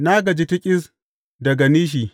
Na gaji tiƙis daga nishi.